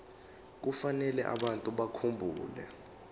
kufanele abantu bakhumbule